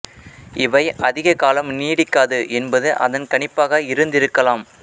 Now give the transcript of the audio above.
இவை அதிக காலம் நீடிக்காது என்பது அதன் கணிப்பாக இருந்திருக்கலாம்